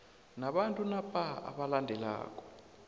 nabantu napa abalandelako